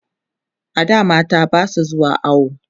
a da mata Basu zuwa awo